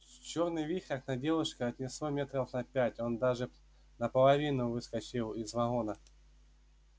чёрный вихрь над девушкой отнесло метров на пять он даже наполовину выскочил из вагона